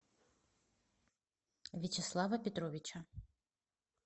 вячеслава петровича